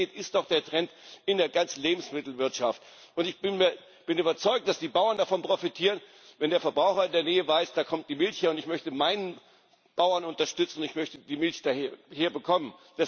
Regionalität ist doch der Trend in der ganzen Lebensmittelwirtschaft. Ich bin überzeugt, dass die Bauern davon profitieren, wenn der Verbraucher in der Nähe weiß Da kommt die Milch her, und ich möchte meinen Bauern unterstützen, ich möchte die Milch da her bekommen.